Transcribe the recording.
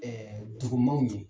Dugumaaw ɲɛ.